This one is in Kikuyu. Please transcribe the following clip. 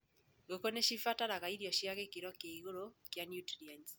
Ngũkũ nĩcibataraga irio cĩina gĩkĩro kĩa igũrũ kia nutrienti.